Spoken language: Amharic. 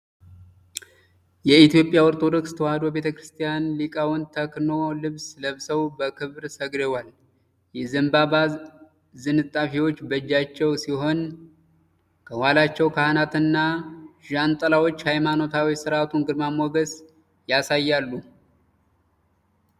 የኢትዮጵያ ኦርቶዶክስ ተዋሕዶ ቤተ ክርስቲያን ሊቃውንት ተክኖ ልብስ ለብሰው በክብር ሰግደዋል። የዘንባባ ዝንጣፊዎች በእጃቸው ሲሆን፣ ከኋላቸው ካህናትና ዣንጥላዎች የሃይማኖታዊ ሥርዓቱን ግርማ ሞገስ ያሳያሉ።